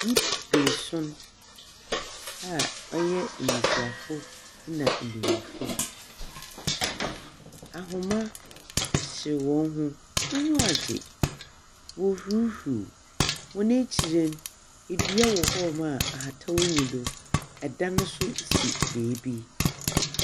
Nnipa beeson a wɔyɛ mmesiafo na mmenyinfo, ahoma kyekyere wɔn ho wanyiwa agye. Wɔɔ hurihuri, wɔn akyiri no, edua wɔ hɔɔmo ahataw nni do. Ɛdan ne so si beebi.